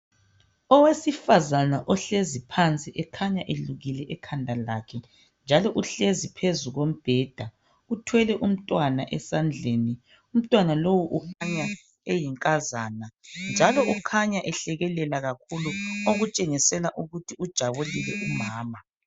Owesifazana ohlezi phansi ekhanya elukile ekhanda lakhe, njalo uhlezi phezu kombheda, uthwele umntwana esandleni. Umntwana lowu ukhanya eyinkazana njalo kukhanya ehlekelela kakhulu, okutshengisela ukuthi ujabulile kakhulu.